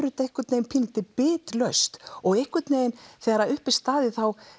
þetta einhvern veginn pínulítið bitlaust og einhvern veginn þegar upp er staðið